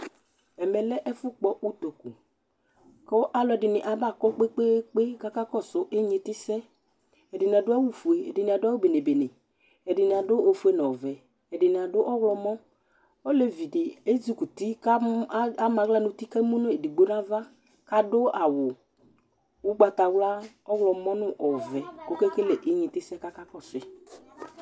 ɛmɛ lɛ ɛfu kpɔ utoku ku alu kɔ n'ɛmɛ kpekpekpe kakɔsu inyiti sɛ, ɛdini adu awu fue, ɛdini adu awu bene bene , ɛdini adu ofue n'ɔvɛ, edini adu ɔwlɔmɔ , olevi di ezukuti ku am'aɣla n'uti ku emu n'edigbo n'ava kadu awu ugbata, ɔwlɔmɔ nu ɔvɛ kɔke kele igniti sɛ kɔka kɔsʋi